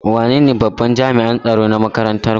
Wanene babban jami'an tsaro na makarantar ku?